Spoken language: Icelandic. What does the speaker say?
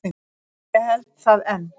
Ég held það enn.